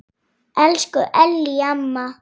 Elsku Ellý amma.